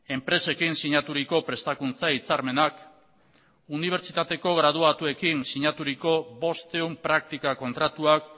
enpresekin sinaturiko prestakuntza hitzarmenak unibertsitateko graduatuekin sinaturiko bostehun praktika kontratuak